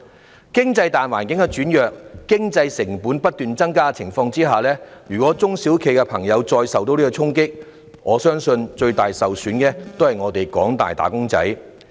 在經濟大環境轉弱及經營成本不斷增加的情況下，如果中小企再受衝擊，我相信最終受損的也是廣大僱員。